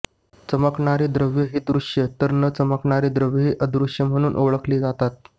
चमकणारी द्रव्यं ही दृश्य तर न चमकणारी द्रव्यं ही अदृश्य म्हणून ओळखली जातात